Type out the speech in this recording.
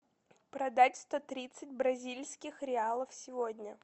продать сто тридцать бразильских реалов сегодня